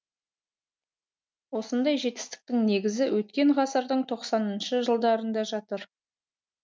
осындай жетістіктің негізі өткен ғасырдың тоқсаныншы жылдарында жатыр